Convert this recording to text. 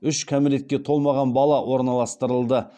үш кәмелетке толмаған бала орналастырылды